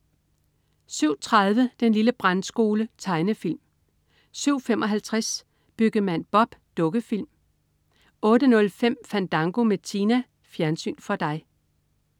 07.30 Den lille Brandskole. Tegnefilm 07.55 Byggemand Bob. Dukkefilm 08.05 Fandango med Tina. Fjernsyn for dig